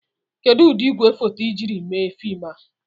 Kedu ụdị igwefoto ị jiri mee fim a?